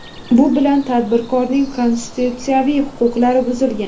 Bu bilan tadbirkorning konstitutsiyaviy huquqlari buzilgan.